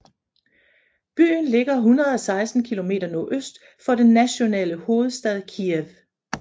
Byen ligger 116 km nordøst for den nationale hovedstad Kyiv